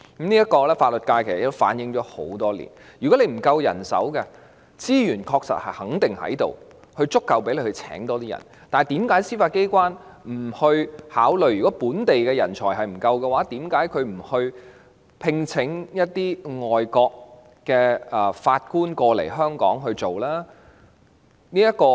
其實法律界已反映這個問題多年，如果問題在於人手不足，司法機關肯定有足夠資源增聘人手；如果是因為本地人才不足，為何司法機關不考慮聘請外國法官來港工作呢？